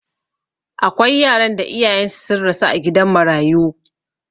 Akwai yaran da iyayensu sun rasu a gidan marayu.